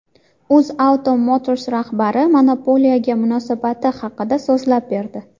UzAuto Motors rahbari monopoliyaga munosabati haqida so‘zlab berdi.